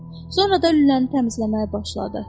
Sonra da lüləni təmizləməyə başladı.